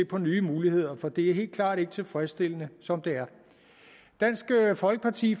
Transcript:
på nye muligheder for det er helt klart ikke tilfredsstillende som det er dansk folkeparti